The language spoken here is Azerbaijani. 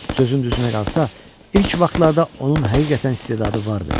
Sözün düzünə qalsa, ilk vaxtlarda onun həqiqətən istedadı vardı.